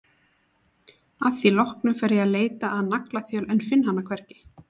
Að því loknu fer ég að leita að naglaþjöl en finn hana hvergi.